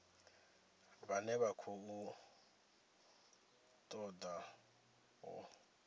vhane vha khou ṱoḓa u